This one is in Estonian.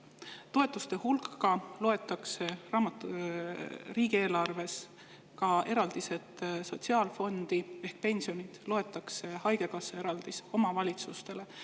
Toetuste hulka loetakse riigieelarves ka eraldised sotsiaalfondi ehk pensionid, loetakse haigekassa eraldis omavalitsustele.